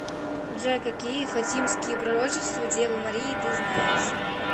джой какие фатимские пророчества девы марии ты знаешь